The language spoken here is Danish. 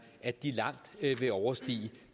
at de langt vil overstige